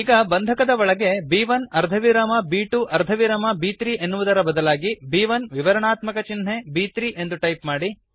ಈಗ ಬಂಧಕದ ಬ್ರೇಸಸ್ ಒಳಗಡೆ ಬ್1 ಅರ್ಧವಿರಾಮ ಬ್2 ಅರ್ಧವಿರಾಮ ಬ್3 ಎನ್ನುವುದರ ಬದಲಾಗಿ ಬ್1 ವಿವರಣಾತ್ಮಕ ಚಿನ್ಹೆB3 ಎಂದು ಟೈಪ್ ಮಾಡಿ